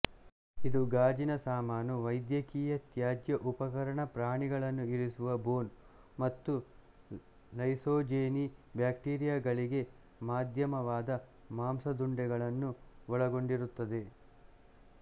ಇದು ಗಾಜಿನ ಸಾಮಾನು ವೈದ್ಯಕೀಯ ತ್ಯಾಜ್ಯ ಉಪಕರಣ ಪ್ರಾಣಿಗಳನ್ನು ಇರಿಸುವ ಬೋನ್ ಮತ್ತು ಲೈಸೋಜೆನಿ ಬ್ಯಾಕ್ಟೀರಿಯಗಳಿಗೆ ಮಾಧ್ಯಮವಾದ ಮಾಂಸದುಂಡೆಗಳನ್ನು ಒಳಗೊಂಡಿರುತ್ತದೆ